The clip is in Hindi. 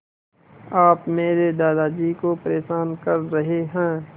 आप मेरे दादाजी को परेशान कर रहे हैं